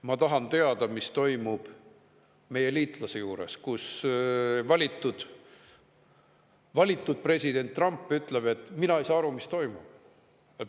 Ma tahan teada, mis toimub meie liitlase juures, kus valitud president Trump ütleb, et mina ei saa aru, mis toimub.